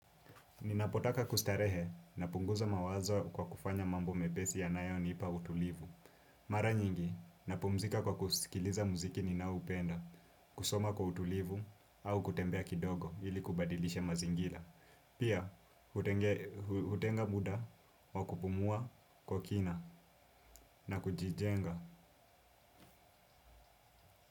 Ninapotaka kustarehe na punguza mawazo kwa kufanya mambo mepesi ya nayo nipa utulivu. Mara nyingi, na pumzika kwa kusikiliza muziki ni naoupenda, kusoma kwa utulivu au kutembea kidogo ili kubadilisha mazingira. Pia, hutenga muda wa kupumua kwa kina na kujijenga.